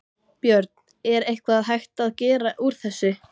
Björn: Er eitthvað hægt að gera úr þessu?